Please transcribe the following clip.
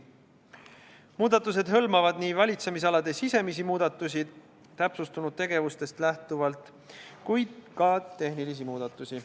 Muudatused hõlmavad valitsemisalade sisemisi muudatusi täpsustunud tegevustest lähtuvalt, kuid on ka tehnilisi muudatusi.